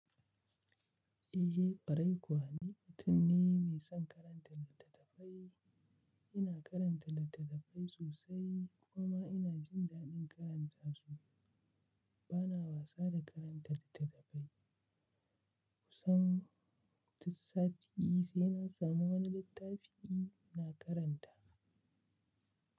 Eh ƙwarai kuwa ni mutum ne mai son karanta littattafai. Ina karanta littattafai sosai kuma ina jin daɗin karanta su. Bana wasa da karanta littattafai. Kusan duk sati sai na samu wani littafi ina karanta.